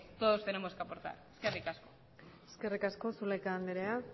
todos tenemos que aportar eskerrik asko eskerrik asko zulaika andrea